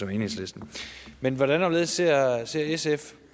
enhedslisten men hvordan og hvorledes ser ser sf